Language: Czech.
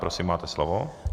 Prosím, máte slovo.